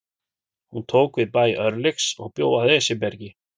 Hún tók við bæ Örlygs og bjó að Esjubergi.